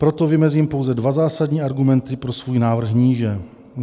Proto vymezím pouze dva zásadní argumenty pro svůj návrh níže.